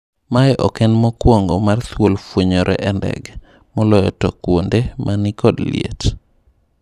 Mae ok en mokwongo mar thuol fwenyore e ndege, moloyo to kwonde mani kod liet.